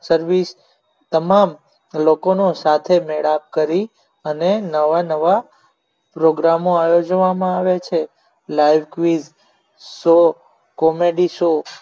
service તમામ લોકોનો સાથે મેળાપ કરી અને નવા નવા program આયોજન કરવામાં આવે છે life free show comedy show